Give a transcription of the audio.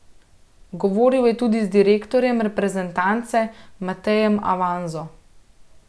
Govoril je tudi z direktorjem reprezentance Matejem Avanzo.